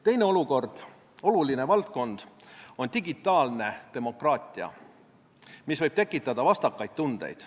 Teine oluline valdkond on digitaalne demokraatia, mis võib tekitada vastakaid tundeid.